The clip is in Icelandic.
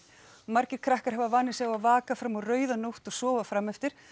margir krakkar hafa vanið sig á að vaka fram á rauða nótt og sofa frameftir